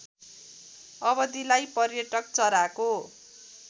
अवधिलाई पर्यटक चराको